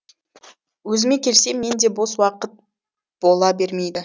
өзіме келсем менде де бос уақыт бола бермейді